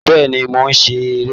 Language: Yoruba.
Bẹ́ẹ̀ni, mò ń sè é